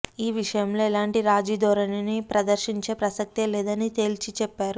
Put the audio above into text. ఈ విషయంలో ఎలాంటి రాజీ ధోరణిని ప్రదర్శించే ప్రసక్తే లేదని తేల్చి చెప్పారు